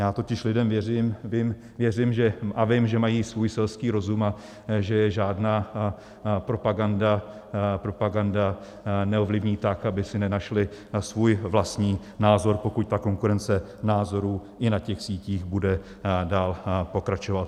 Já totiž lidem věřím a vím, že mají svůj selský rozum a že je žádná propaganda neovlivní tak, aby si nenašli svůj vlastní názor, pokud ta konkurence názorů i na těch sítích bude dál pokračovat.